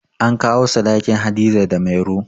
An kawo sadakin Hadiza da Mairo